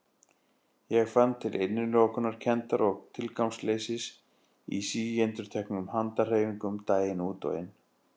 Ég fann til innilokunarkenndar og tilgangsleysis í síendurteknum handahreyfingum daginn út og inn.